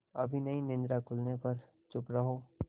अभी नहीं निद्रा खुलने पर चुप रहो